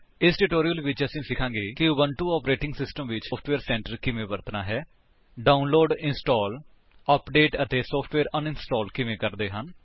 ਇਸ ਟਿਊਟੋਰਿਅਲ ਵਿੱਚ ਅਸੀ ਸਿਖਾਂਗੇ ਕਿ ਉਬੁੰਟੂ ਆਪਰੇਟਿੰਗ ਸਿਸਟਮ ਵਿੱਚ ਉਬੁੰਟੂ ਸੋਫਟਵੇਅਰ ਸੈਂਟਰ ਕਿਵੇਂ ਵਰਤਣਾ ਹੈ ਡਾਉਨਲੋਡ ਇੰਸਟਾਲ ਅਪਡੇਟ ਅਤੇ ਸੋਫਟਵੇਅਰ ਅਨਇੰਸਟਾਲ ਕਿਵੇਂ ਕਰਦੇ ਹਨ